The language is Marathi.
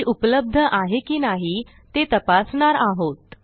ती उपलब्ध आहे की नाही ते तपासणार आहोत